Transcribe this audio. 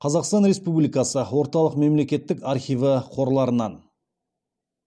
қазақстан республикасы орталық мемлекеттік архиві қорларынан